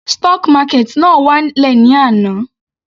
Stock market náà wá lẹ̀ ní àná.